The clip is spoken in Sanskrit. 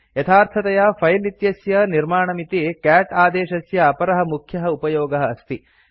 यथार्थतया फिले इत्यस्य निर्माणमिति कैट् आदेशस्य अपरः मुख्यः उपयोगः अस्ति